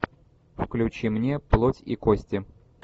включи мне плоть и кости